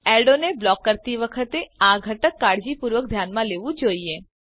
એડો જાહેરાતો ને બ્લોક કરતી વખતે આ ઘટક કાળજીપૂર્વક ધ્યાનમાં લેવું જોઈએ